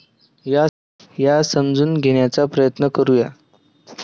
या समजून घेण्याचा प्रयत्न करू या.